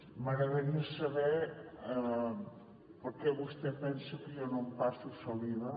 m’agradaria saber per què vostè pensa que jo no empasso saliva